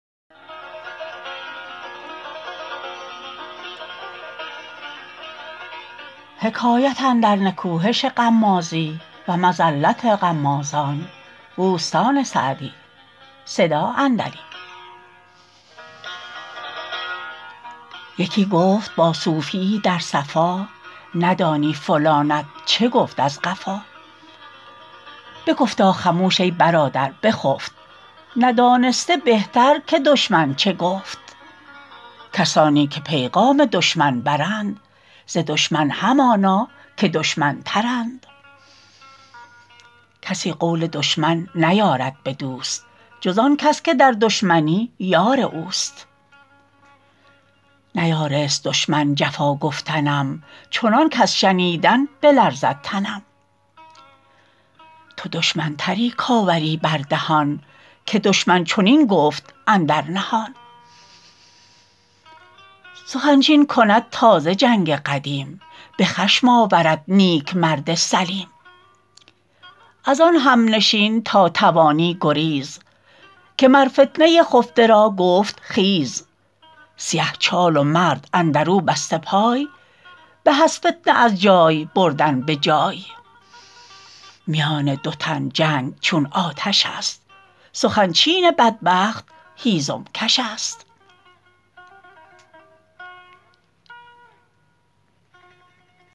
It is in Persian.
یکی گفت با صوفی یی در صفا ندانی فلانت چه گفت از قفا بگفتا خموش ای برادر بخفت ندانسته بهتر که دشمن چه گفت کسانی که پیغام دشمن برند ز دشمن همانا که دشمن تر ند کسی قول دشمن نیارد به دوست جز آن کس که در دشمنی یار اوست نیارست دشمن جفا گفتنم چنان کز شنیدن بلرزد تنم تو دشمن تری کآوری بر دهان که دشمن چنین گفت اندر نهان سخن چین کند تازه جنگ قدیم به خشم آورد نیک مرد سلیم از آن همنشین تا توانی گریز که مر فتنه خفته را گفت خیز سیه چال و مرد اندر او بسته پای به از فتنه از جای بردن به جای میان دو تن جنگ چون آتش است سخن چین بدبخت هیزم کش است